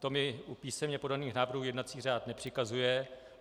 To mi u písemně podaných návrhů jednací řád nepřikazuje.